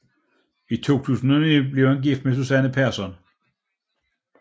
I 2009 blev han gift med Susanne Persson